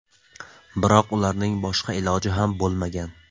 Biroq ularning boshqa iloji ham bo‘lmagan.